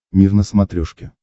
мир на смотрешке